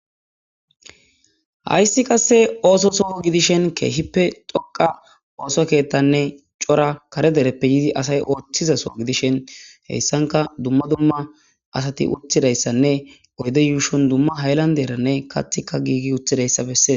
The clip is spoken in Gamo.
Hayssi qasse ooso soh gidishen keehippe doqa ooso keethtanne cora kare dereppe yidi asay ooththizaso gidishen heyssanka dumma dumma asati uthidayssanne oyde yuushon dumma hayllan deeranne kathika giigi uthidayssa bessee.